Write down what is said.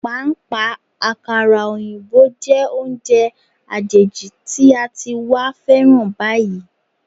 Pàápàá, àkàrà òyìnbó jẹ́ oúnjẹ àjèjì tí a ti wá féràn báyìí.